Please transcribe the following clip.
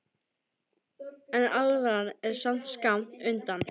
en alvaran er samt skammt undan.